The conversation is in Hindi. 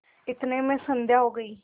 इतने में संध्या हो गयी